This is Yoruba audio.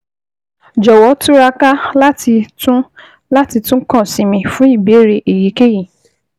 Jọ̀wọ́ túraká láti tún láti tún kàn sí mi fún ìbéèrè èyíkéyìí